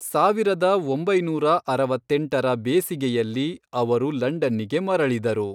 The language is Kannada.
ಸಾವಿರದ ಒಂಬೈನೂರ ಅರವತ್ತೆಂಟರ ಬೇಸಿಗೆಯಲ್ಲಿ ಅವರು ಲಂಡನ್ನಿಗೆ ಮರಳಿದರು.